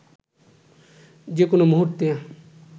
যে কোনো মুহূর্তে